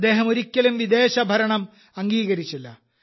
അദ്ദേഹം ഒരിക്കലും വിദേശ ഭരണം അംഗീകരിച്ചില്ല